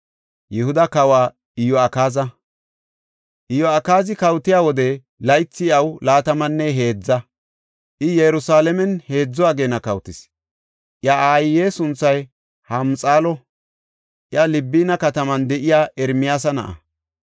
Iyo7akaazi kawotiya wode, laythi iyaw laatamanne heedza; I Yerusalaamen heedzu ageena kawotis. Iya aaye sunthay Hamuxaalo; iya Libina katama de7iya Ermiyaasa na7a.